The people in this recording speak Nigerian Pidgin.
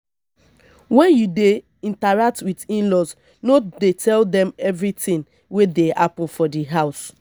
when you dey interact with inlaws no tell dem everything wey dey happen for di house